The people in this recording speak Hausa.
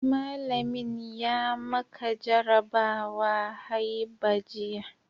Mallamin ya maka jarabawa haiba jiya